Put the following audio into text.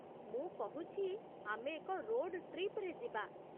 ମୁଁ କହୁଛି, ଆମେ ଏକ ରୋଡ଼ ଟ୍ରିପ୍‌ରେ ଯିବା।